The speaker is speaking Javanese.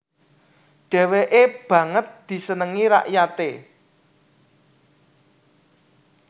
Dheweke banget disenengi rakyate